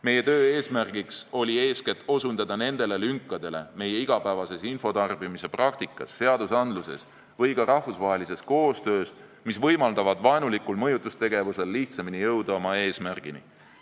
Meie töö eesmärk oli eeskätt osutada nendele lünkadele meie igapäevases infotarbimise praktikas, seadusandluses või ka rahvusvahelises koostöös, mis võimaldavad vaenulikul mõjutustegevusel lihtsamini oma eesmärgile jõuda.